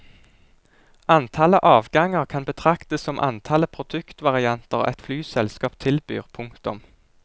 Antallet avganger kan betraktes som antallet produktvarianter et flyselskap tilbyr. punktum